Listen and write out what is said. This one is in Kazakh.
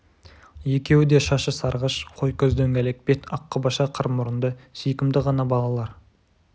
екеуі да шашы сарғыш қой көз дөңгелек бет аққұбаша қыр мұрынды сүйкімді ғана балалар